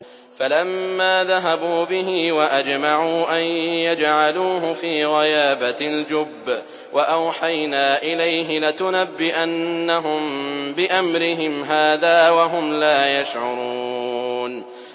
فَلَمَّا ذَهَبُوا بِهِ وَأَجْمَعُوا أَن يَجْعَلُوهُ فِي غَيَابَتِ الْجُبِّ ۚ وَأَوْحَيْنَا إِلَيْهِ لَتُنَبِّئَنَّهُم بِأَمْرِهِمْ هَٰذَا وَهُمْ لَا يَشْعُرُونَ